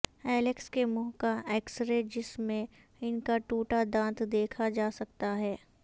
Alex کے منہ کا ایکسرے جس میں ان کا ٹوٹا دانت دیکھا جا سکتا ہے